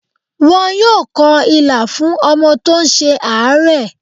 Wọ́n yóò kọ Ilà fún ọmọ tó ń ṣe àárẹ̀.